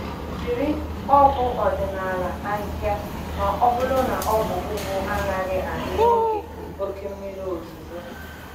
Jiri ọgwụ ọdịnala ahịhịa ma ọ bụrụ na ọgwụ ugbo anaghị adị n’oge oke mmiri ozuzo.